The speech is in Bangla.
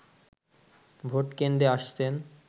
ভোটকেন্দ্রে আসছেন